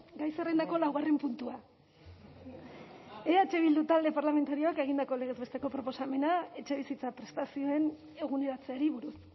gai zerrendako laugarren puntua eh bildu talde parlamentarioak egindako legez besteko proposamena etxebizitza prestazioen eguneratzeari buruz